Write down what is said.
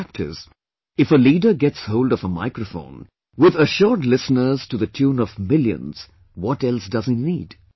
The fact is, if a leader gets hold of a microphone with assured listeners to the tune of millions, what else does he need